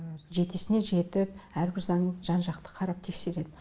жетесіне жетіп әрбір заңды жан жақты қарап тексереді